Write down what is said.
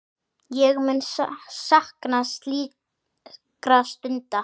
Ég mun sakna slíkra stunda.